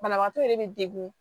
Banabaatɔ yɛrɛ be degun